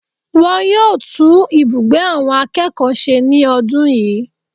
Wọn yóò tún ibùgbé àwọn akẹ́kọ̀ọ́ se ní ọdún yìí